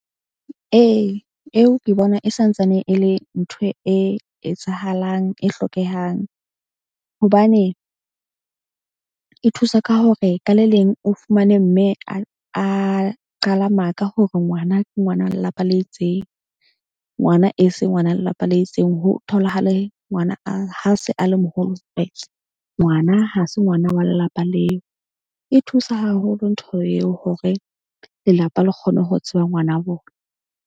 Ee, eo ke bona e santsane e le ntho e etsahalang, e hlokehang hobane e thusa ka hore ka le leng o fumane mme a qala maka hore ngwana ke ngwana lelapa le itseng, ngwana e se ngwana lelapa le itseng. Ho tholahale ngwana a ha se a le moholo ngwana ha se ngwana wa lelapa leo. E thusa haholo ntho eo hore lelapa le kgone ho tseba ngwana bona.